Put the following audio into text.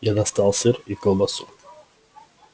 я достал сыр и колбасу